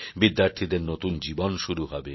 বিদ্যার্থীদের নতুন জীবন শুরু হবে